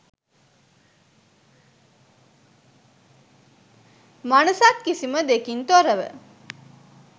මනසත් කිසිම දෙකින් තොරව